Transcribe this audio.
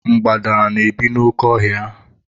Mgbada na-ebi n'oke ọ hia.